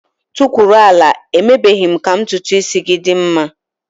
Tukwuru ala! Emebeghi m ka ntutu isi gị dị mma.